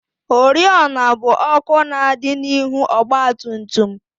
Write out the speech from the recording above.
Oriọna bụ ọkụ na-adị n'ihu ọgbatumtum